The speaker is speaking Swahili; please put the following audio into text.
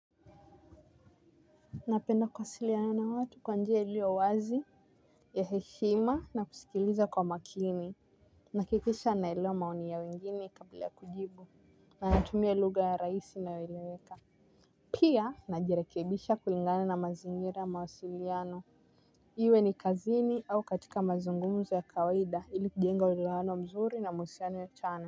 Ninapenda kuwasiliana na watu kwa njia iliyo wazi ya heshima na kusikiliza kwa makini. Ninahakikisha ninaelewa maoni ya wengine kabla ya kujibu na ninatumia lugha rahisi inayoeleweka. Pia ninajirekebisha kulingana na mazingira ya mawasiliano. Iwe ni kazini au katika mazungumzo ya kawaida ili kujenga uelewano mzuri na mahusiano ya chanya.